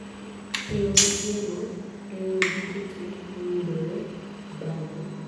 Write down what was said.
keyo migeno, leyo duto te moyudoree bage